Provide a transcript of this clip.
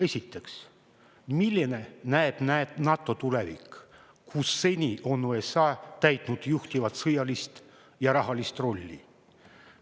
Esiteks, milline näeb NATO tulevik, kui seni on seal USA täitnud juhtivat sõjalist ja rahalist rolli?